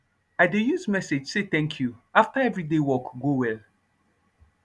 i dey use message say thanku afta every day work go well